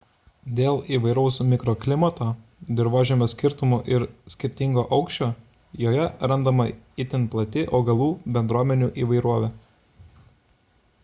dėl įvairaus mikroklimato dirvožemio skirtumų ir skirtingo aukščio joje randama itin plati augalų bendruomenių įvairovė